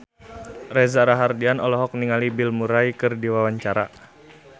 Reza Rahardian olohok ningali Bill Murray keur diwawancara